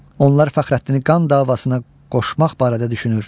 Onlar Fəxrəddini qan davasına qoşmaq barədə düşünür.